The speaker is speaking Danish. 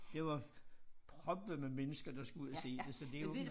Det var proppet med mennesker der skulle ud og se det så det jo